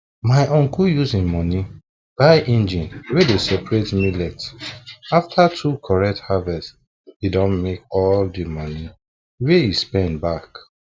my uncle use him money buy engine wey dey separate millet after two correct harvest e don make all the money wey e spend back